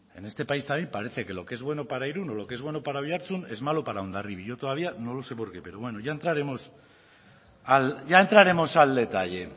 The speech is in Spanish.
en este país también parece que lo que es bueno para irún o lo que es bueno para oiartzun es malo para hondarribi yo todavía no lo sé por qué pero bueno ya entraremos al detalle